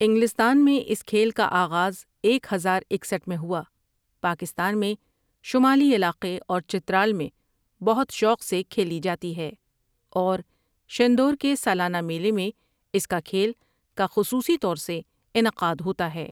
انگلستان میں اس کھیل کا آغاز ایک ہزار اکسٹھ میں ہوا پاکستان میں شمالی علاقے اور چترال میں بہت شوق سے کھیلی جاتی ہے اور شندور کے سالانہ میلے میں اس کا کھیل کا خصوصی طور سے انعقاد ہوتا ہے ۔